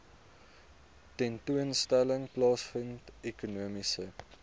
tentoonstelling plaasvind ekonomiese